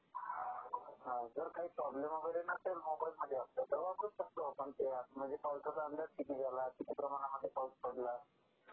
हं तेच, जर काही प्रॉब्लेम वगैरे नसेल मोबाईल मध्ये आपल्या तर वापरूच शकतो आपण ते ऍप म्हणजे पावसाचा अंदाज किती झाला, किती प्रमाणामध्ये पाऊस पडला, किव्वा.